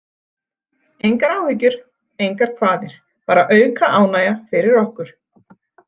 Engar áhyggjur, engar kvaðir, bara auka ánægja fyrir okkur.